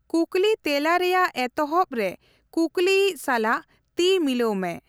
ᱠᱩᱠᱞᱤᱼᱛᱮᱞᱟ ᱨᱮᱭᱟᱜ ᱮᱛᱦᱚᱵᱽ ᱨᱮ ᱠᱩᱠᱞᱤᱭᱤᱡ ᱥᱟᱞᱟᱜ ᱛᱤᱼᱢᱤᱞᱟᱹᱣ ᱢᱮ ᱾